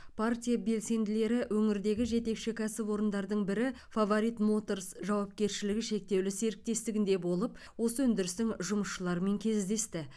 партия белсенділері өңірдегі жетекші кәсіпорындардың бірі фаворит моторс жауапкершілігі шектеулі серіктестігінде болып осы өндірістің жұмысшыларымен кездесті